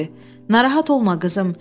Narahat olma, qızım.